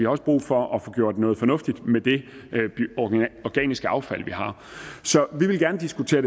også brug for at få gjort noget fornuftigt ved det organiske affald vi har så vi vil gerne diskutere